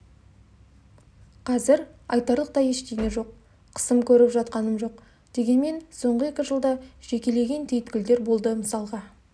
қазір айтарлықтай ештеңе жоқ қысым көріп жатқаным жоқ дегенмен соңғы екі жылда жекелеген түйіткілдер болды мысалға